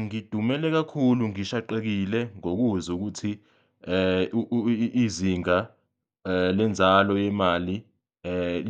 Ngidumele kakhulu ngishaqekile ngokuzwa ukuthi izinga lenzalo yemali